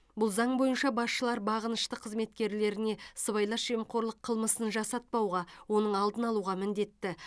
бұл заң бойынша басшылар бағынышты қызметкерлеріне сыбайлас жемқорлық қылмысын жасатпауға оның алдын алуға міндетті